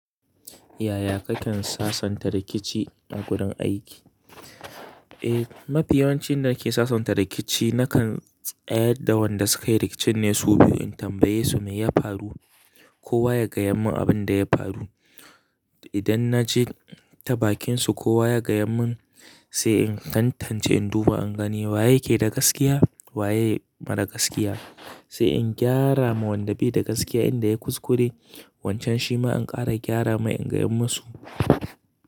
Yaya kake sasanta rikici a gurin aiki? Eh, mafi yawancin yanda nake sasanta rikici nakan tsayar da wanda suka yi rikicin ne su biyu. In tambaye su me ya faru ko wa ya gaya mun abin da ya faru. Idan na ji tabakinsu ko wa ya gayan mun sai in tantance in duba, in gani wa yake da gaskiya waye mara gaskiya. Sai in gyara ma wanda bai da gaskiya inda yayi kuskure wancan shi ma in ƙara gyara ma in gayan musu.